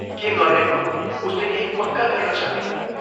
के गर्ने हो उसले केही पक्का गर्न सकेन।